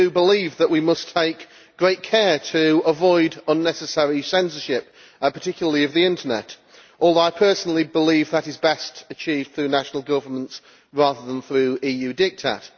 I believe that we must take great care to avoid unnecessary censorship particularly of the Internet although I personally believe that is best achieved through national governments, rather than through EU diktat.